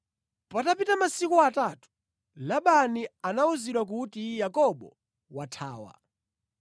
Patapita masiku atatu, Labani anawuzidwa kuti Yakobo wathawa.